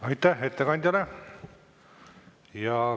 Aitäh ettekandjale!